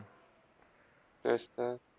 तेच तर